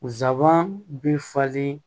Nsaban bi falen